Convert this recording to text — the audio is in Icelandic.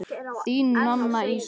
Þín, Nanna Ísold.